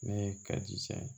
Ne ye kaji san